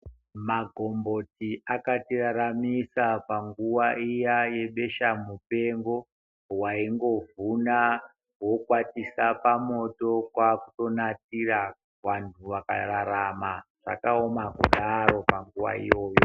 Magomboti akatiraramisa panguwa iya yebesha mupengo waingovhuna wokwatisa pamoto kwakutonatira vantu vakararama zvakaoma kudaro panguwa iyoyo.